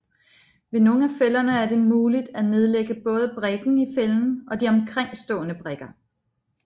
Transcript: Ved nogle af fælderne er det muligt at nedlægge både brikken i fælden og de omkringstående brikker